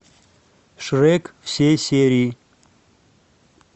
шрек все серии